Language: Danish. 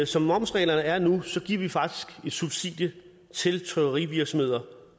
som momsreglerne er nu giver vi faktisk subsidier til trykkerivirksomheder